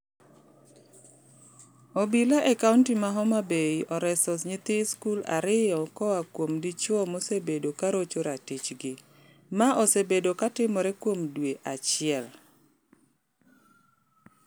Obila e kaunti ma Homa Bay oreso nyithi skul ario koa kuom dichuo mosebedo karocho ratichgi. Ma osebedo katimore kuom dwe achiel.